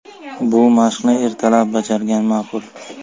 Bu mashqni ertalab bajargan ma’qul.